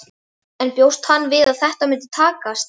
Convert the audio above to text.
En bjóst hann við að þetta myndi takast?